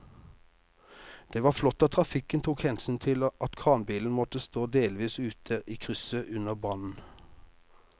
Det var flott at trafikken tok hensyn til at kranbilen måtte stå delvis ute i krysset under brannen.